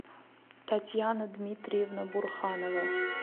татьяна дмитриевна бурханова